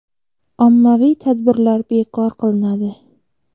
Ommaviy tadbirlar bekor qilinadi.